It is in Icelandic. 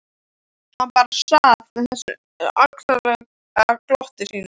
Hann bara sat með þessu ánalega glotti sínu.